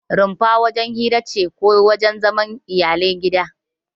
Rumfa wajen hira ce ko wajen zaman iyalan gida.